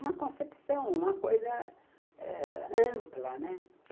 Uma concepção, uma coisa ãh ampla, né.